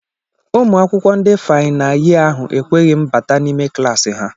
Ụmụ akwụkwọ ndị fayna yee ahụ ekweghị m bata n'ime klaasị ha